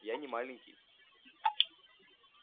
я не маленький